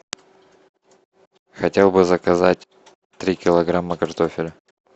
хотел бы заказать три килограмма картофеля